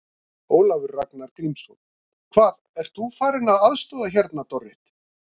Ólafur Ragnar Grímsson: Hvað, ert þú farin að aðstoða hérna, Dorrit?